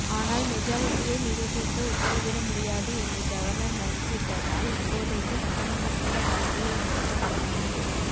ஆனால் மெஜாரிட்டியை நிரூபிக்க உத்தரவிட முடியாது என்று கவர்னர் மறுத்துவிட்டதால் இப்போதைக்கு சட்டமன்றம் கூட வாய்ப்பில்லை என்று கூறப்படுகிறது